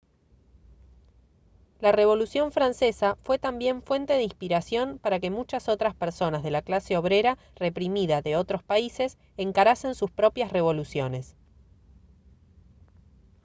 la revolución francesa fue también fuente de inspiración para que muchas otras personas de la clase obrera reprimida de otros países encarasen sus propias revoluciones